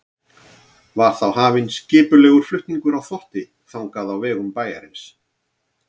Var þá hafinn skipulegur flutningur á þvotti þangað á vegum bæjarins.